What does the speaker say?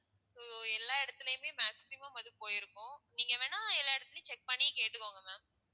so எல்லா இடத்துலையுமே maximum அது போயிருக்கும் நீங்க வேணும்னா எல்லா இடத்துலேயும் check பண்ணி கேட்டுக்கோங்க ma'am